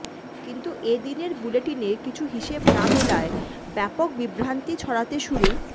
কিন্তু এ দিনের বুলেটিনে কিছু হিসেব না মেলায় ব্যাপক বিভ্রান্তি ছড়াতে শুরু